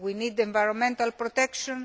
we need environmental protection